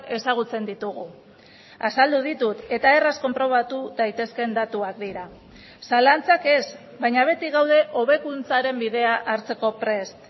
ezagutzen ditugu azaldu ditut eta erraz konprobatu daitezkeen datuak dira zalantzak ez baina beti gaude hobekuntzaren bidea hartzeko prest